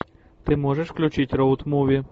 ты можешь включить роуд муви